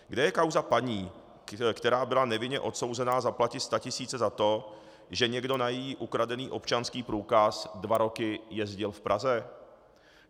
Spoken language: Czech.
Kde je kauza paní, která byla nevinně odsouzena zaplatit statisíce za to, že někdo na její ukradený občanský průkaz dva roky jezdil v Praze?